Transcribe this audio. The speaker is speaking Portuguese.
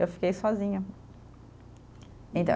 Eu fiquei sozinha.